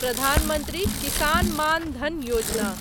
Pradhan Mantri Kisan Maan Dhan Yojana